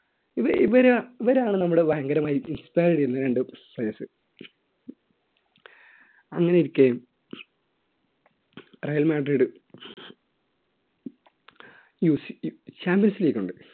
ഇവ ഇവരെ ഇവരാണ് നമ്മുടെ ഭയങ്കര മായി inspire ചെയ്യുന്ന രണ്ട് players അങ്ങനെയിരിക്കെ റയൽ മാഡ്രിഡ് ചാമ്പ്യൻസ് ലീഗ് ഉണ്ട്.